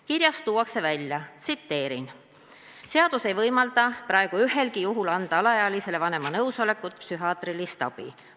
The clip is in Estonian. Kirjas öeldakse: "Seadus ei võimalda praegu ühelgi juhul anda alaealisele vanema nõusolekuta psühhiaatrilist abi.